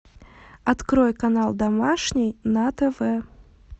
открой канал домашний на тв